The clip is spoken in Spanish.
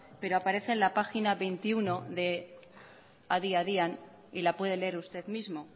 pero aparece en la página veintiuno de adi adian y la puede leer usted mismo